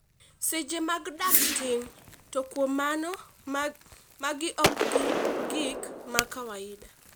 seche mag dak tin , to kuom mano magi ok gin gik ma kawaida